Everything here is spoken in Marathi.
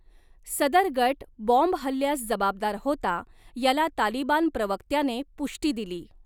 सदर गट बाॅम्बहल्ल्यास जबाबदार होता याला तालिबान प्रवक्त्याने पुष्टी दिली.